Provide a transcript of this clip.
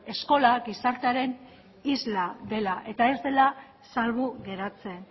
eskola gizartearen isla dela eta ez dela salbu geratzen